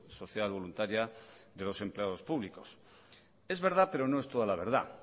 social voluntaria de los empleados públicos es verdad pero no es toda la verdad